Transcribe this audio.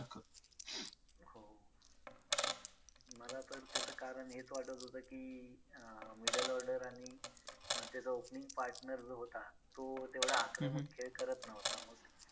मला पण त्याचं कारण हेच वाटत होतं की अं middle order आणि अं त्याचा opening partner जो होता तो तेवढा आक्रमक खेळ करत नव्हता, मग